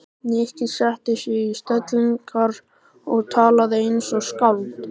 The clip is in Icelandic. Nikki setti sig í stellingar og talaði eins og skáld.